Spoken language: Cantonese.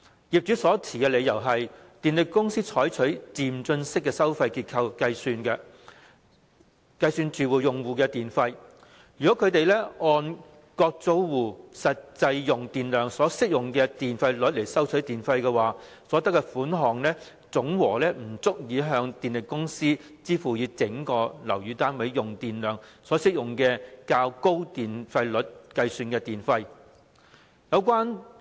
業主所持理由是電力公司採取漸進式收費結構計算住宅用戶的電費；如果他們按各租戶實際用電量所適用的電費率收取電費，所得款項總和不足以向電力公司支付以整個樓宇單位用電量所適用的較高電費率計算的電費。